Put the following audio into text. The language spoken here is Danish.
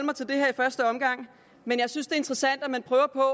i første omgang men jeg synes interessant at man